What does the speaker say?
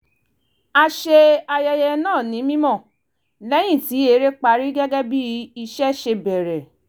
a ṣe ààyè náà ní mímọ́ lẹ́yìn tí eré parí gẹ́gẹ́ bí ìṣe ṣe bèrè